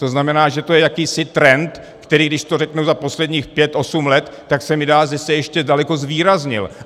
To znamená, že to je jakýsi trend, který, když to řeknu za posledních pět osm let, tak se mi zdá, že se ještě daleko zvýraznil.